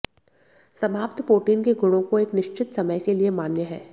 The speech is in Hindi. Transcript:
समाप्त पोटीन के गुणों को एक निश्चित समय के लिए मान्य है